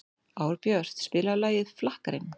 Árbjört, spilaðu lagið „Flakkarinn“.